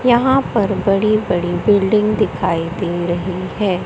यहां पर बड़ी बड़ी बिल्डिंग दिखाई दे रही है।